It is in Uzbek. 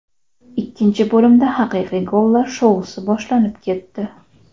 Ikkinchi bo‘limda haqiqiy gollar shousi boshlanib ketdi.